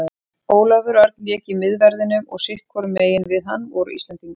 Ólafur Örn lék í miðverðinum og sitthvorum megin við hann voru Íslendingar.